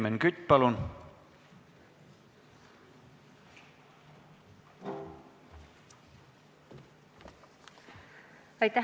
Helmen Kütt, palun!